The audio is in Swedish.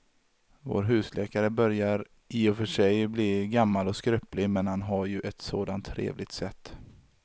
Vår husläkare börjar i och för sig bli gammal och skröplig, men han har ju ett sådant trevligt sätt!